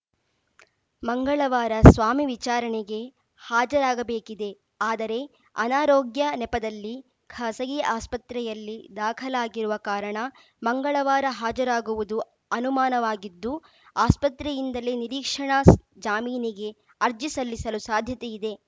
ಮಂಗಳವಾರ ಸ್ವಾಮಿ ವಿಚಾರಣೆಗೆ ಹಾಜರಾಗಬೇಕಿದೆ ಆದರೆ ಅನಾರೋಗ್ಯ ನೆಪದಲ್ಲಿ ಖಾಸಗಿ ಆಸ್ಪತ್ರೆಯಲ್ಲಿ ದಾಖಲಾಗಿರುವ ಕಾರಣ ಮಂಗಳವಾರ ಹಾಜರಾಗುವುದು ಅನುಮಾನವಾಗಿದ್ದು ಆಸ್ಪತ್ರೆಯಿಂದಲೇ ನಿರೀಕ್ಷಣಾ ಸ ಜಾಮೀನಿಗೆ ಅರ್ಜಿ ಸಲ್ಲಿಸಲು ಸಾಧ್ಯತೆ ಇದೆ